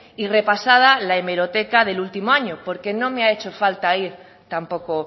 y repasada la hemeroteca del último año porque no me ha hecho falta ir tampoco